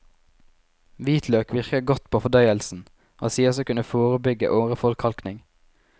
Hvitløk virker godt på fordøyelsen, og sies å kunne forebygge åreforkalkning.